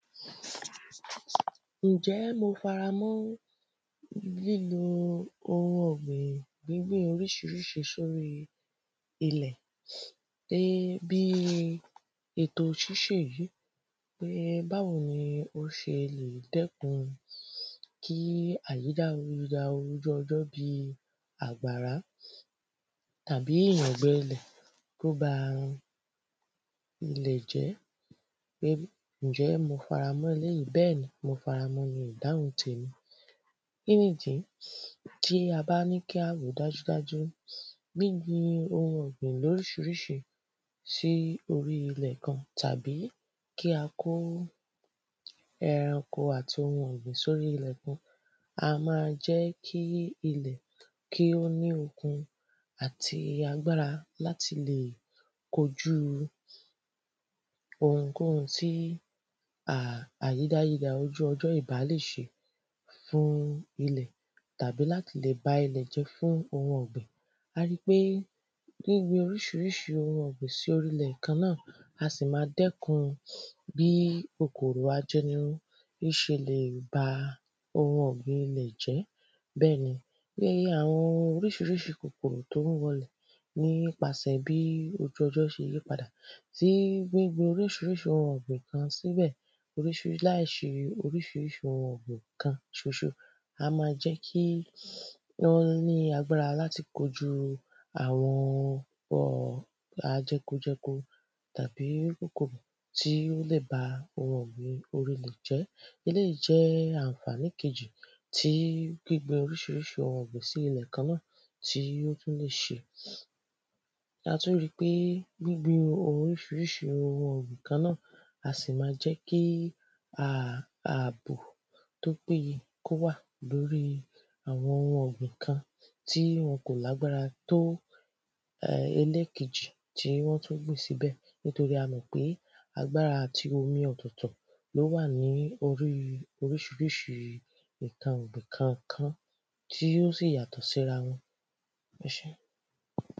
Ǹjẹ́ mo faramọ́ lílò oun ọ̀gbìn gbíbin oríṣiríṣi sóri ilẹ̀ Pé bíi ètò ṣíṣe èyí pé báwo ni ó ṣe lè dẹ́kun kí dí àgbàrá Tàbí ìyàngbẹ lẹ̀ kí ó ba ilẹ̀ jẹ́ pé ǹjẹ́ mo faramọ́ eléyì Bẹ́ẹ̀ ni mo faramọ ni ìdáhùn temi Kíni ìdí Tí a bá ní kí a rò ó dájúdájú Gbíbin oun ọ̀gbìn ní oríṣiríṣi sí orí ilẹ̀ kan tàbí kí a kó ẹranko àti oun ọ̀gbìn sí orí ilẹ̀ kan a máa jẹ́ ilẹ̀ kí ó ní okun àti agbára láti lè kojú ounkóun tí um àyídáyidà ojú ọjọ́ ìbá lè ṣe fún ilẹ̀ Tàbí láti lè ba ilẹ̀ jẹ́ fún oun ọ̀gbìn A ri pé gbíbin oríṣiríṣi oun ọ̀gbìn sí orí ilẹ̀ kan náà á sì máa dẹ́kun bí kòkòrò ajẹnirun bí ó ṣe lè ba oun ọ̀gbìn ilẹ̀ jẹ́ Bẹ́ẹ̀ ni iye àwọn oríṣiríṣi kòkòrò tí ó ń wọ ilẹ̀ nípasẹ bí ojú ọjọ́ ṣe yípadà tí gbíbin oríṣiríṣi oun ọ̀gbìn kan síbẹ̀ laiṣe oríṣiríṣi oun ọ̀gbìn kan ṣoṣo a máa jẹ́ kí wọ́n ní agbára láti kojú àwọn um jẹkojẹko tàbí kòkòrò tí ó lè bá ilẹ̀ jẹ́ Eléyì jẹ́ àǹfàní kejì gbíbin oríṣiríṣi oun ọ̀gbìn sí ilẹ̀ kan náà tí ó tún lè ṣe A tún ri pé gbíbin oríṣiríṣi oun ọ̀gbìn kan náà á sì máa jẹ́ kí um àbò tí ó péye kí o wà lórí àwọn oun ọ̀gbìn kan tí wọn kò lágbára tó oun ọ̀gbìn ẹlẹ́kejì tí wọ́n tún gbìn sí ibẹ̀ Nítorí a mọ̀ pe agbára àti omi ọ̀tọ̀ọ̀tọ̀ ni ó wà ní oríṣiríṣi nǹkan ọ̀gbìn kọ̀ọ̀kan tí ó sì yàtọ̀ síra wọn Ẹ sé